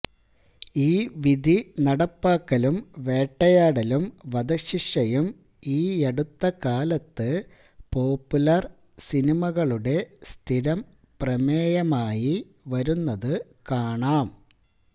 ഈ വിധി നടപ്പാക്കലും വേട്ടയാടലും വധശിക്ഷയും ഈയടുത്തകാലത്ത് പോപ്പുലര് സിനിമകളുടെ സ്ഥിരം പ്രമേയമായി വരുന്നതു കാണാം